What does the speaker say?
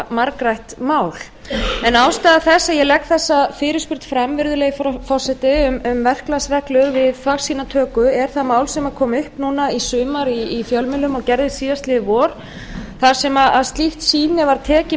margrætt mál en ástæða þess að ég legg þessa fyrirspurn fram virðulegi forseti um verklagsreglur við þvagsýnatöku er það mál sem kom upp núna í sumar í fjölmiðlum og gerðist síðastliðið vor þar sem slíkt sýni var tekið